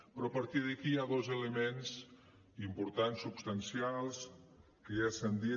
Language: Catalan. però a partir d’aquí hi ha dos elements importants substancials que ja s’han dit